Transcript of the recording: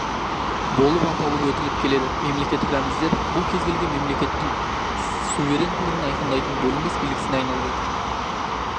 болып аталып өтіліп келеді мемлекеттік рәміздер бұл кез-келген мемлекеттің суверенділігін айқындайтын бөлінбес белгісіне айналып отыр